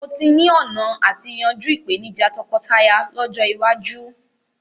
Mó tí ni ọ̀nà àti yanjú ìpèníjà tọkọtaya lọ́jọ́ iwájú